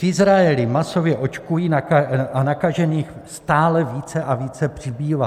V Izraeli masově očkují a nakažených stále více a více přibývá.